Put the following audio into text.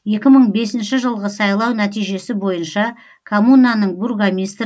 екі мың бесінші жылғы сайлау нәтижесі бойынша коммунаның бургомистрі